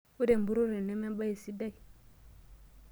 Ore empurore neme embae sidai.